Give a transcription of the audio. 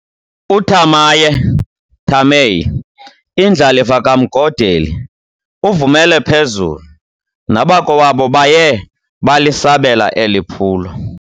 UThamaye, Thamae, indlalifa kaMgodeli, uvumele phezulu, nabakowabo baye balisabela eli phulo.